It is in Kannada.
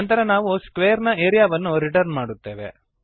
ನಂತರ ನಾವು ಸ್ಕ್ವೇರ್ ನ ಏರಿಯಾವನ್ನು ರಿಟರ್ನ್ ಮಾಡುತ್ತೇವೆ